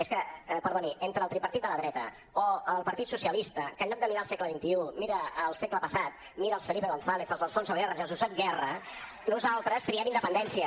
és que perdoni entre el tripartit de la dreta o el partit socialista que en lloc de mirar al segle xxi mira al segle passat mira als felipe gonzález als alfonso guerra i als josep borrell nosaltres triem independència